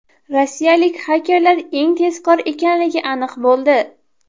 Rossiyalik xakerlar eng tezkor ekanligi aniq bo‘ldi.